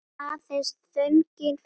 Aðeins þögnin fyrir innan.